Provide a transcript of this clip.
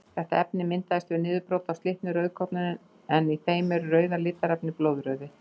Þetta efni myndast við niðurbrot á slitnum rauðkornum en í þeim er rauða litarefnið blóðrauði.